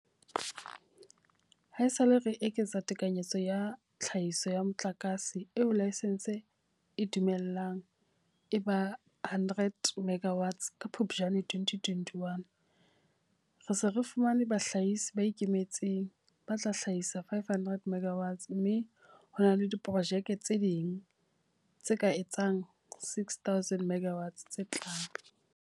Haesale re eketsa tekanyetso ya tlhahiso ya motlakase eo laesense e e dumellang e ba 100 megawatts ka Phuptjane 2021, re se re fumane bahlahisi ba ikemetseng ba tla hlahisa 500 MW mme ho na le diprojeke tse ding tse ka etsang 6 000 MW tse tlang.